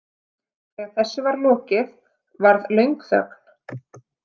Þegar þessu var lokið varð löng þögn.